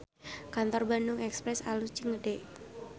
Kantor Bandung Express alus jeung gede